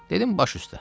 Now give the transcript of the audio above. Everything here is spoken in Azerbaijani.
Dedim baş üstə.